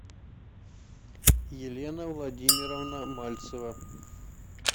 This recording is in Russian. елена владимировна мальцева